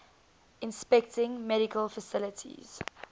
inspecting medical facilities